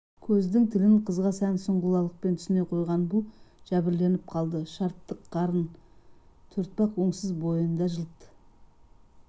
көздің тілін қызға тән сұңғылалықпен түсіне қойған бұл жәбірленіп қалды шартық қарын төртбақ өңсіз бойында жылт